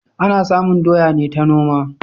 Ana samun doya ne ta noma